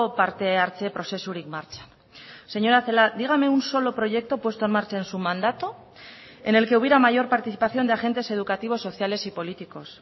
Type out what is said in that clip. parte hartze prozesurik martxan señora celaá dígame un solo proyecto puesto en marcha en su mandato en el que hubiera mayor participación de agentes educativos sociales y políticos